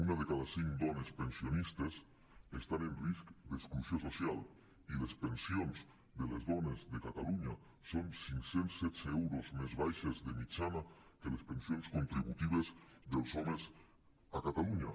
una de cada cinc dones pensionistes està en risc d’exclusió social i les pensions de les dones de catalunya són cinc cents i setze euros més baixes de mitjana que les pensions contributives dels homes a catalunya